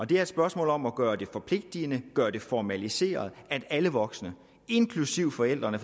det er et spørgsmål om at gøre det forpligtigende gøre det formaliseret at alle voksne inklusive forældrene